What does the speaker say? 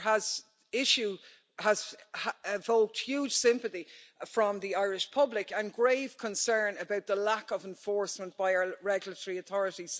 This issue has evoked huge sympathy from the Irish public and grave concern about the lack of enforcement by our regulatory authority.